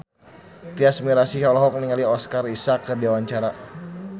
Tyas Mirasih olohok ningali Oscar Isaac keur diwawancara